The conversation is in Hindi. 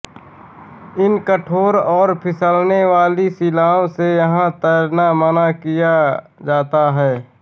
इन कठोर और फिसलने वाली शिलाओं से यहाँ तैरना मना किया जाता है